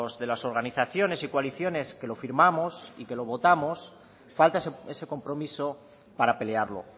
de las organizaciones y coaliciones que lo firmamos y que lo votamos falta ese compromiso para pelearlo